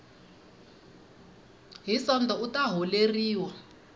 hi sonto u ta holeriwa